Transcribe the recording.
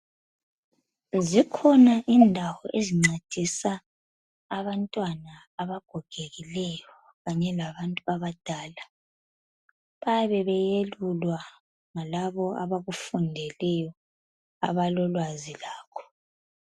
Zikhona indawo ezincedisa abantwana abagogekileyo kanye labantu abadala bayabe beyelulwa ngalabo abakufundeleyo abalolwazi lakho